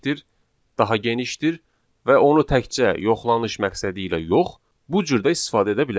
daha genişdir və onu təkcə yoxlanış məqsədi ilə yox, bu cür də istifadə edə bilərik.